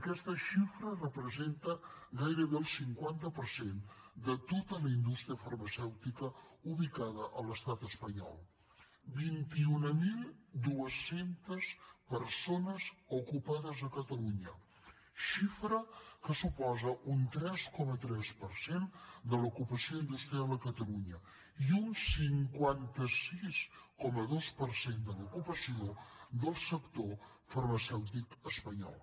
aquesta xifra representa gairebé el cinquanta per cent de tota la indústria farmacèutica ubicada a l’estat espanyol vint mil dos cents persones ocupades a catalunya xifra que suposa un tres coma tres per cent de l’ocupació industrial a catalunya i un cinquanta sis coma dos per cent de l’ocupació del sector farmacèutic espanyol